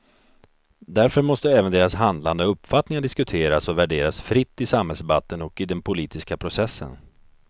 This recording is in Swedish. Därför måste även deras handlande och uppfattningar diskuteras och värderas fritt i samhällsdebatten och i den politiska processen.